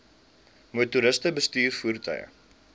motoriste bestuur voertuie